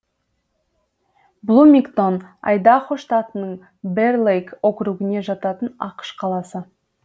блумингтон айдахо штатының бэр лейк округіне жататын ақш қаласы